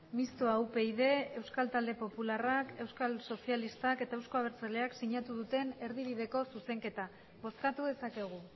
mistoa upyd euskal talde popularrak euskal sozialistak eta euzko abertzaleak sinatu duten erdibideko zuzenketa bozkatu dezakegu